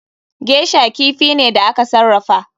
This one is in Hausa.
Geisher kifi ne da aka sarrafa.